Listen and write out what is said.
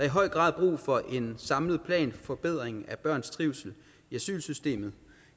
i høj grad brug for en samlet plan for forbedring af børns trivsel i asylsystemet